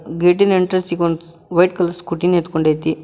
Gate in entrance ಇಗೊಂದು white colour Scooty ನಿಂತ್ಕೊಂಡೈತಿ.